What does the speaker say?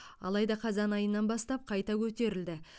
алайда қазан айынан бастап қайта көтерілді